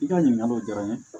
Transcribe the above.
I ka ɲininkali diyara n ye